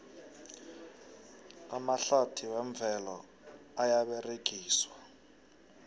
amahlathi wemvelo ayaberegiswa